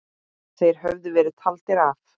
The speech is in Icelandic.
Þeir höfðu verið taldir af.